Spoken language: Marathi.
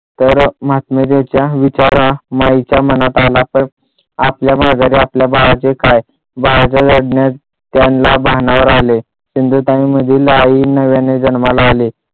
तर विचार माईंच्या मनात आला तर आपल्या माघे आपल्या बाळाचे काय बाळाचे लढण्यात त्यांना भानावर आले सिंधुताईंमधील आई नव्याने जन्माला आले.